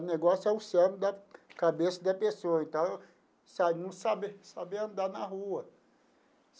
O negócio é o cérebro da cabeça da pessoa, então sabe não sabia sabia andar na rua.